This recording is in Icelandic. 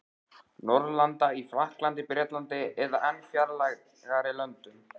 Norðurlanda: í Frakklandi, Bretlandi eða enn fjarlægari löndum.